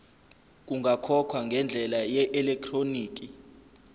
kungakhokhwa ngendlela yeelektroniki